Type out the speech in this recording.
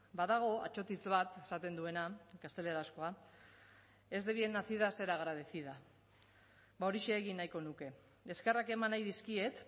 badago atsotitz bat esaten duena gaztelerazkoa es de bien nacida es ser agradecida horixe egin nahiko nuke eskerrak eman nahi dizkiet